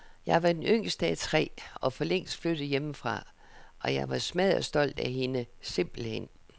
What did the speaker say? Jeg var den yngste af tre og forlængst flyttet hjemmefra, og jeg var smadderstolt af hende, simpelthen.